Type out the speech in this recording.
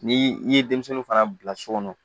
Ni i ye denmisɛnninw fana bila so kɔnɔ